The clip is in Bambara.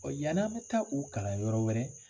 Ɔ yann'a bɛ taa o kalan yɔrɔ wɛrɛ